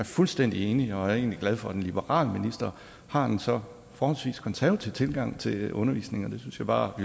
fuldstændig enig og jeg er egentlig glad for at en liberal minister har en så forholdsvis konservativ tilgang til undervisning det synes jeg bare at